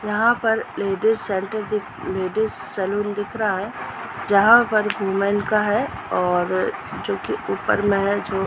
यहाँ पर ladies centre दिख लेडिज सैलून दिख रहा है जहाँ पर वूमेन का है और जो की ऊपर में है जो --